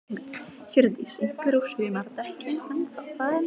Hjördís: Einhverjir á sumardekkjum enn þá?